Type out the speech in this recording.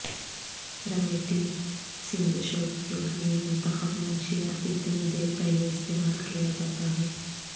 رمیٹی سندشوت کے لئے منتخب منشیات اتنی دیر پہلے استعمال کیا جاتا ہے